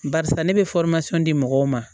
Barisa ne bɛ di mɔgɔw ma